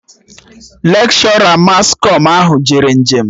Lekshọra mas kọm ahụ jere njem